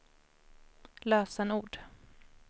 lösenord